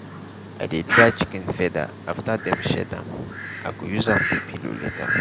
i dey dry chicken feather after dem shed am i go use am do pillow later.